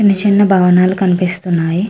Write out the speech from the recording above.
చిన్న చిన్నభవనాలు కనిపిస్తున్నాయి .